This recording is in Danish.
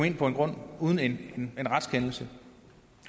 ind på en grund uden en retskendelse